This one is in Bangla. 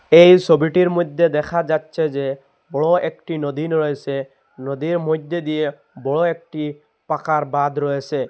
এই ছবিটির মধ্যে দেখা যাচ্ছে যে বড়ো একটি নদী রয়েছে নদীর মধ্যে দিয়ে বড়ো একটি পাকার বাঁধ রয়েছে।